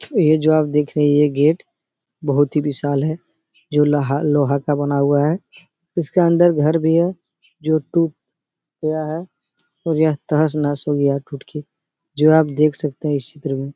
ये जो आप देख रही है ये गेट बहोत ही विशाल है जो लाहा लोहा का बना हुआ है। उसका अन्दर घर भी है जो टूट गया है और यह तहस नहस हो गया है टूट के। जो आप देख सकते है इस चित्र में।